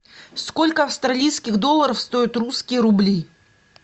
сколько австралийских долларов стоят русские рубли